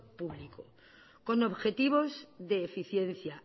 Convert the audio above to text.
público con objetivos de eficiencia